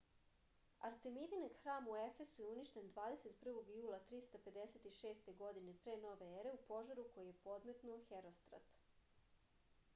artemidin hram u efesu je uništen 21. jula 356. godine p.n.e. u požaru koji je podmetnuo herostrat